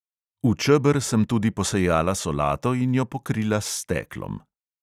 V čeber sem tudi posejala solato in jo pokrila s steklom.